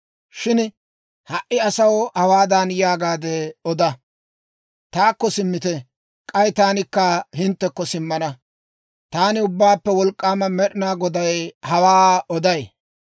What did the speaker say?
Shin ha"i asaw hawaadan yaagaade oda; ‹Taakko simmite; k'ay taanikka hinttekko simmana.› Taani Ubbaappe Wolk'k'aama Med'inaa Goday hawaa oday.